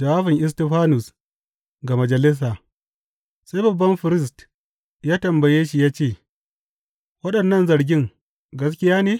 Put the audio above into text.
Jawabin Istifanus ga majalisa Sai babban firist ya tambaye shi ya ce, Waɗannan zargen gaskiya ne?